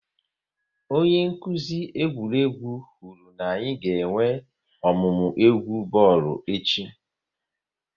Onye nkuzi egwuregwu kwuru na-anyị ga-enwe ọmụmụ egwu bọọlụ echi